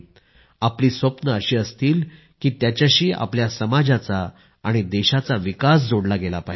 आपली स्वप्ने अशी असतील की त्याच्याशी आपल्या समाजाचा आणि देशाचा विकास जोडला गेला पाहिजे